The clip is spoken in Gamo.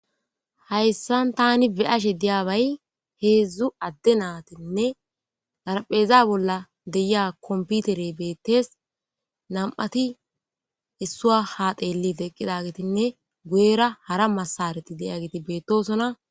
hayssan tani beyashe diyabay heedzdzu adde naatinne garpheeza bolla deyia komputere beettes nam7ati issua haateelli teqqida getinne guyera hara masareti deya geti beettosona